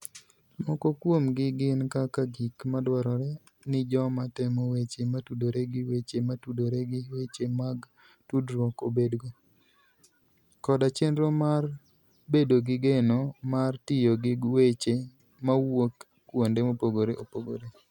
Moko kuomgi gin kaka gik madwarore ni joma temo weche motudore gi weche motudore gi weche mag tudruok obedgo, koda chenro mar bedo gi geno mar tiyo gi weche mawuok kuonde mopogore opogore.